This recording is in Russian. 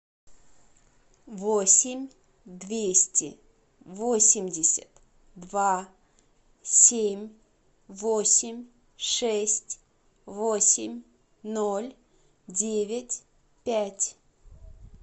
восемь двести восемьдесят два семь восемь шесть восемь ноль девять пять